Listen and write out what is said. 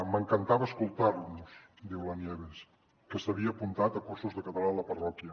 m’encantava escoltar los diu la nieves que s’havia apuntat a cursos de català a la parròquia